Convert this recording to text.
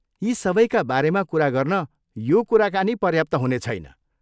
यी सबैका बारेमा कुरा गर्न यो कुराकानी पर्याप्त हुने छैन।